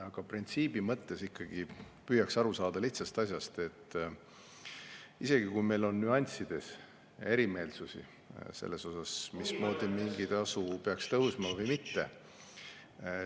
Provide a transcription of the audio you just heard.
Aga printsiibi mõttes ikkagi püüaks aru saada lihtsast asjast: isegi kui meil on nüanssides erimeelsusi selles, mis meetodil mingi tasu peaks tõusma või mitte …